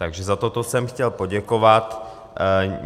Takže za toto jsem chtěl poděkovat.